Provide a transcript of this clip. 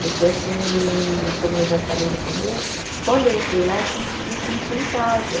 Porque, assim, como eu já falei no começo, quando eu entrei lá, eu senti, me senti em casa.